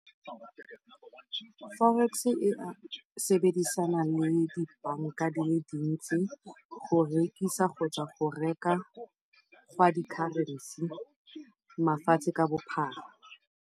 Forex-e e dirisana le di banka di le dintsi go rekisa kgotsa go reka ga di-currency mafatshe ka bophara.